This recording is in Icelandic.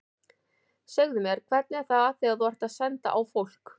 Segðu mér, hvernig er það þegar þú ert að senda á fólk.